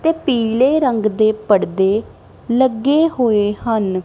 ਤੇ ਪੀਲੇ ਰੰਗ ਦੇ ਪਰਦੇ ਲੱਗੇ ਹੋਏ ਹਨ।